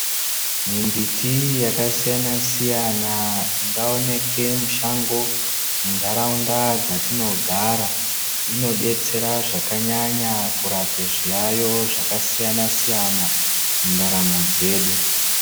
Mimbiti yakasiyana siyana ingaoneke mushango mundaraunda dzatinogara inodetsera zvakanyanya kurape zviyayo zvakasiyana siyana mundaramo dzedu.